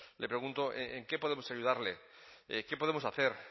le pregunto en qué podemos ayudarle qué podemos hacer